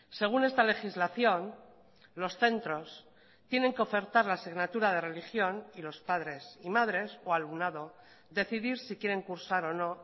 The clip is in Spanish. según esta legislación los centros tienen que ofertar la asignatura de religión y los padres y madres o alumnado decidir si quieren cursar o no